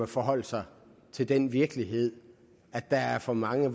forholde sig til den virkelighed at der er for mange